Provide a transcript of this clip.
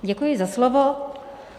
Děkuji za slovo.